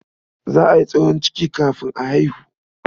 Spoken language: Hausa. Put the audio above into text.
Za a yi tsohon ciki kafin a haihu.